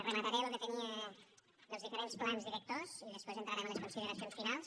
remataré lo que tenia dels diferents plans directors i després entrarem a les consideracions finals